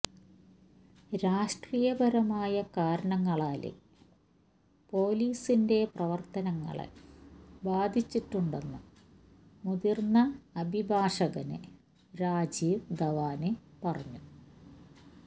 രാഷ്ട്രീയപരമായ കാരണങ്ങളാല് പൊലീസിന്റെ പ്രവര്ത്തനങ്ങളെ ബാധിച്ചിട്ടുണ്ടെന്ന് മുതിര്ന്ന അഭിഭാഷകന് രാജീവ് ധവാന് പറഞ്ഞു